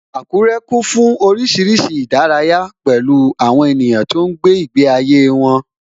Akure kún fún oríṣiríṣi ìdárayá, pẹ̀lú àwọn ènìyàn tó ń gbé ìgbé ayé wọn